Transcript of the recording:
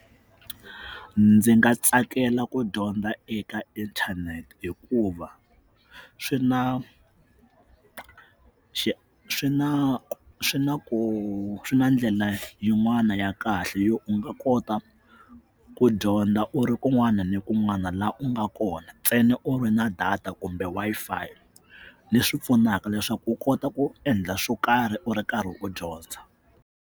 Ndzi nga tsakela ku dyondza eka inthanete hikuva swi na swi na swi na ku swi na ndlela yin'wana ya kahle yo u nga kota ku dyondza u ri kun'wana ni kun'wana laha u nga kona ntsena u ri na data kumbe Wi-Fi leswi pfunaka leswaku u kota ku endla swo karhi u ri karhi u dyondza.